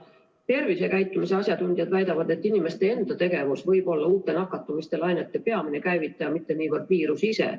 Tervisekäitumise asjatundjad väidavad, et inimeste enda tegevus võib olla uute nakatumislainete peamine käivitaja, mitte niivõrd viirus ise.